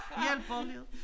Hjælper liden